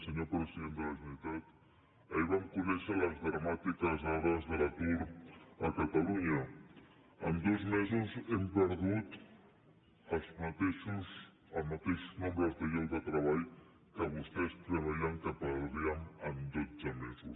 senyor president de la generalitat ahir vam conèixer les dramàtiques dades de l’atur a catalunya en dos mesos hem perdut el mateix nombre de llocs de treball que vostès preveien que perdríem en dotze mesos